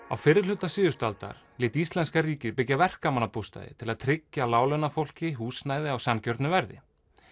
á fyrri hluta síðustu aldar lét íslenska ríkið byggja verkamannabústaði til að tryggja láglaunafólki húsnæði á sanngjörnu verði